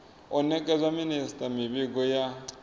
u nekedza minisita mivhigo ya